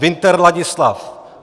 Winter Ladislav